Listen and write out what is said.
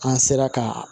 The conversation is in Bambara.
An sera ka